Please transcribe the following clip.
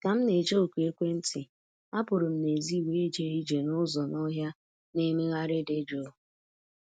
Ka m na-eche oku ekwentị, apụrụ m n'èzí wee jee ije n’ụzọ n'ọhịa na-emegharị dị jụụ